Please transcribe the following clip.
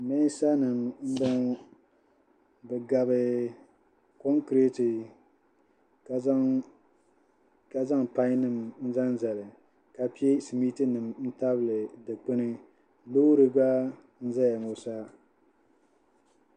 Mɛɛnsanima m-bɔŋɔ bɛ gabi konkireti ka zaŋ payinima n-zaŋ zali ka pe simiitinima tabili dukpuni loori gba n-zaya ŋɔ sa